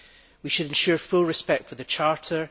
We should ensure full respect for the Charter.